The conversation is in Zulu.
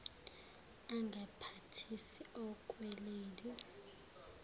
angamphathisi okwe lady